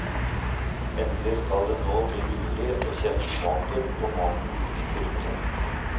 Endelig skal det nå bli mulig å kjenne smaken på maten vi spiser ute.